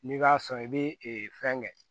N'i b'a sɔn i bɛ fɛn kɛ